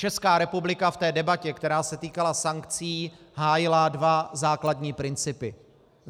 Česká republika v té debatě, která se týkala sankcí, hájila dva základní principy.